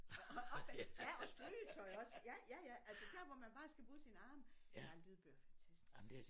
Og opvask ja og strygetøj også ja ja ja altså dér hvor man bare skal bruge sine arme ja lydbøger er fantastisk